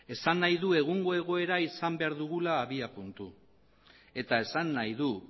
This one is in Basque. esan nahi du egungo egoera izan behar dugula abiapuntu eta esan nahi du